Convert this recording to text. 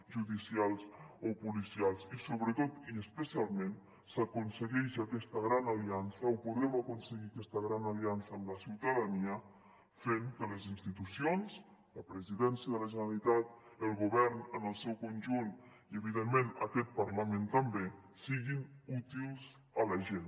judicials o policials i especialment s’aconsegueix aquesta gran aliança o podrem aconseguir aquesta gran aliança amb la ciutadania fent que les institucions la presidència de la generalitat el govern en el seu conjunt i evidentment aquest parlament també siguin útils a la gent